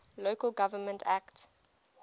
local government act